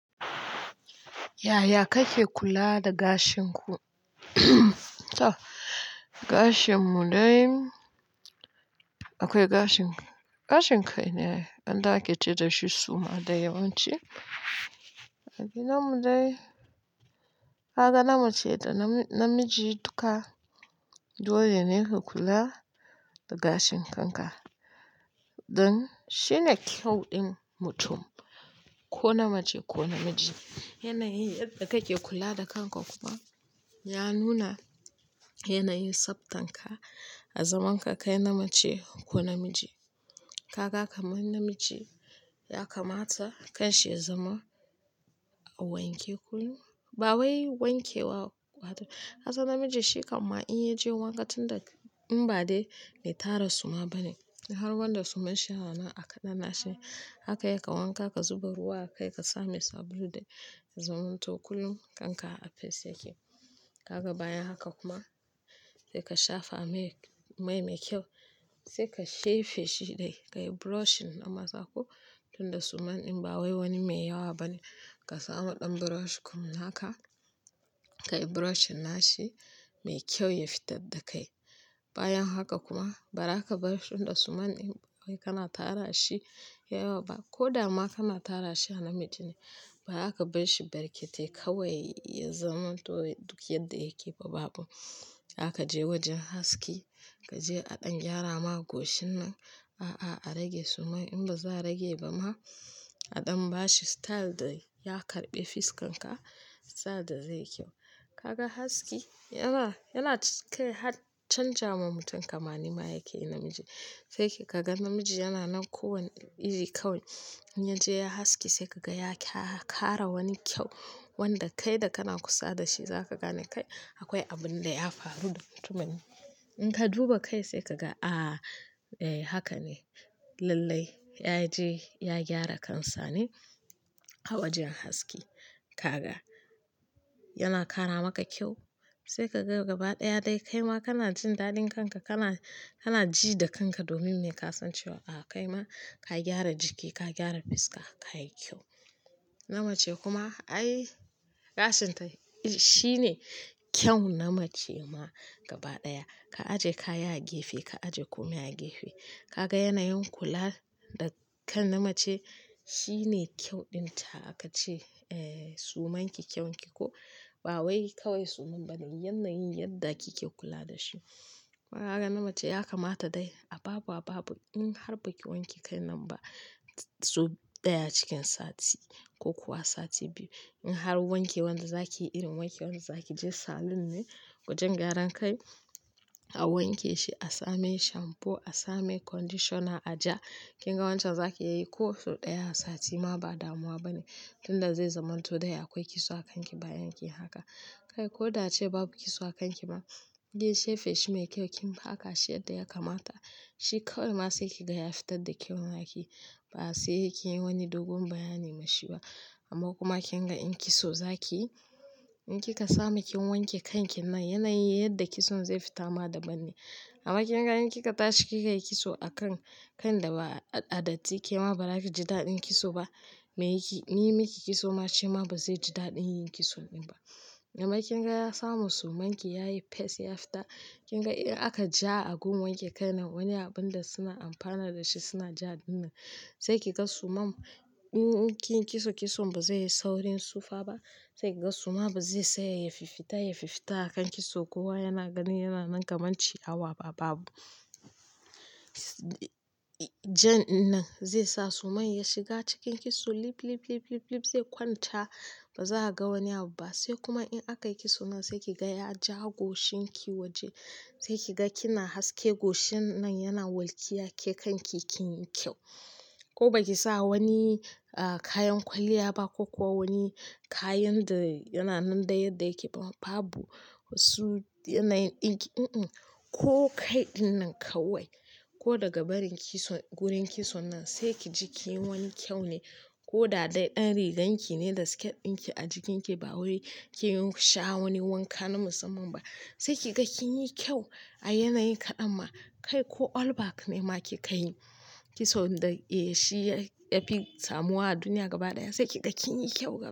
Yaya kake kula da gashin ku? Gashin mu dai, akwai gashin-- gashin kai ne wanda ake ce dashi suma dai yawanci. A gidan mu dai, haka nama ce da namiji duka dole ne ku kula da gashin kanka. Don shine kyau din mutum, ko namace ko namiji. Yanayin yadda kake kula da kanka kuma ya nuna yanayin tsabtan ka a zaman ka kai namace ko namiji. Kaga kamar namiji ya kamata kan shi ya zama a wanke kullum ba wai wanke wa, kasan namiji shi kam ma in ya je wanka tun da in ba dai me tara suma bane. Har wanda suman shi yana nan a ƙananan shi. Haka ya ka wanka ka zuba ruwa kai ka same sabulu dai ya zamanto kullum kanka a fes yake. Kaga bayan haka kuma sai ka shafa mai, mai mai kyau. Sai ka shefe shi dai, ka yi brushin na maza ko tun da suman din ba wai wani mai yawa bane. Ka samu ɗan brush kum haka ka yi brushin nashi mai kyau ya fitar da kai. Bayan haka kuma, bara ka bar shi tun da suman in ba wai kana tara shi ya yawa ba. Ko dama kana tara shi a namiji ne, bara ka bar shi barƙetai kawai ya zamanto duk yadda yake ba babu. Zaka je wajen haski, ka je a ɗan gyara ma goshinan. A'a, a rage suman in ba za a rage ba ma a ɗan bashi style da ya karɓi fiskan ka, style da zai kyau. Kaga haski yana, yana kai har canja ma mutum kamanni ma yake namiji. Sai ki kaga namiji yana nan kowane iri kawai. In ya je ya haski sai kaga ya kara wani kyau wanda kai da kana kusa da shi za ka gane kai akwai abin da ya faru da mutumin. In ka duba kai sai kaga a, eh haka ne. Lallai ya je ya gyara kansa ne a wajen haski. Kaga yana kara maka kyau. Sai ka ga gaba ɗaya dai kai ma kana jin daɗin kanka, kana, kana ji da kanka domin ne ka san cewa a kai ma ka gyara jiki, ka gyara fiska, ka yi kyau. Namace kuma ai gashin ta shi ne kyau na namace ma gaba ɗaya. Ka aje kaya a gefe, ka aje komai a gefe. Kaga yanayin kula da kan namace shine kyau din ta aka ce, eh suman ki kyaun ki ko ba wai kawai suman bane, yanayin yadda kike kula da shi. Kaga namace ya kamata dai a babu a babu in har baki wanke kan nan ba, sau ɗaya cikin sati ko kuwa sati biyu. In har wanke wan da zakiyi irin wanke wan da zaki je salon ne wajen gyaran kai a wanke shi, a same shampo, a same conditioner, a ja. Kin ga wancan zaki iya yi ko sau ɗaya a sati ma ba damuwa bane. Tun da zai zamanto dai akwai kitso a kanki bayan kin haka. Kai ko da ace babu kitso a kanki ma, ge shefe shi mai kyau kin haka shi yadda ya kamata. Shi kawai ma sai kiga ya fitar da kyaun naki ba sai kin yi wani dogon bayani ma shi ba. Amma kuma kin ga in kitso zaki yi, in ki ka samu kin wanke kan kin nan yanayin yadda kitson zai fita ma daban ne. Amma kin ga in kika tashi kikai kitso a kan, kan da ba a datti ke ma bara ki ji daɗin kitso ba. Me yake yi miki kitso ma shi ma ba zai ji daɗin yin kitson din ba. Amma kin ga ya samu suman ki ya yi fes ya fita, kin ga in aka ja a gun wanke kan nan wani abun da suna amfana da shi suna ja dinnan. Sai kiga suman in kin yi kitso, kitson ba zai yi saurin tsufa ba. Sai kiga suma ba zai tsaya ya fiffita, ya fiffita a kan kitso kowa yana ganin yana nan kaman ciyawa ba babu. Jan nan zai sa suman ya shiga cikin kitso lip, lip, lip, lip, lip zai kwanta ba za a ga wani abu ba. Sai kuma in aka yi kitso nan sai kiga ya ja goshinki waje. Sai kiga kina haske goshin nan yana walkiya ke kan ki kin yi kyau. Ko baki sa wani, ah kayan kwalliya ba ko kuwa wani kayan da yana nan da yadda yake babu. Su yanayin ɗinki in in ko kaiɗin nan kawai. Ko daga barin kitso, gurin kitso nan sai ki ji kin yi wani kyau ne. Ko da dai ɗan riganki ne da sket ɗinki a jikinki ba wai ki sha wani wanka na musamman ba. Sai kiga kin yi kyau a yanayin kaɗan ma kai ko all back ne ma ki ka yi. Kitson da eh shi ya fi samuwa a duniya gabaɗaya. Sai kiga kin yi kyau.